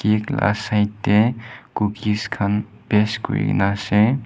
cake laga side teh cookies khan paste kuri na ase.